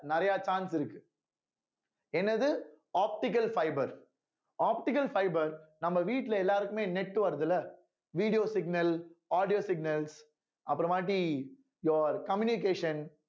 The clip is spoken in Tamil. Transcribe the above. நிறைய chance இருக்கு என்னது optical fibre optical fibre நம்ம வீட்ல எல்லாருக்குமே net வருதுல்ல video signal audio signals அப்புறமாட்டி your communication